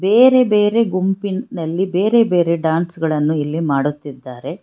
ಬೇರೆ ಬೇರೆ ಗುಂಪಿನಲ್ಲಿ ಬೇರೆ ಬೇರೆ ಡಾನ್ಸ್ ಗಳನ್ನು ಇಲ್ಲಿ ಮಾಡುತ್ತಿದ್ದಾರೆ.